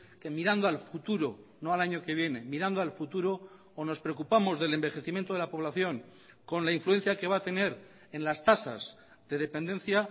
que mirando al futuro no al año que viene mirando al futuro o nos preocupamos del envejecimiento de la población con la influencia que va a tener en las tasas de dependencia